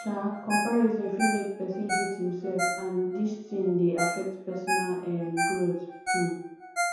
um comparison fit make person hate him self and and dis thing dey affect personal um growth um